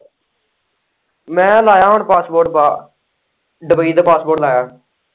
ਮੈਂ ਲਾਇਆ ਹੁਣ ਪਾਸਪੋਰਟ ਬਾਹਰ ਦੁੱਬਈ ਦਾ ਪਾਸਪੋਰਟ ਲਾਇਆ।